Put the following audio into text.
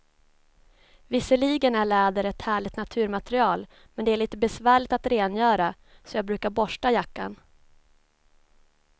Visserligen är läder ett härligt naturmaterial, men det är lite besvärligt att rengöra, så jag brukar borsta jackan.